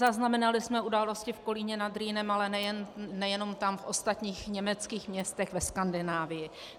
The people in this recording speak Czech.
Zaznamenali jsme události v Kolíně nad Rýnem, a nejenom tam, v ostatních německých městech, ve Skandinávii.